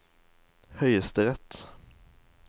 høyesterett